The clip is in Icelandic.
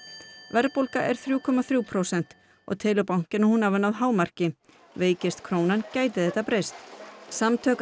verðbólga er þriggja komma þrjú prósent og telur bankinn að hún hafi náð hámarki veikist krónan gæti þetta breyst samtök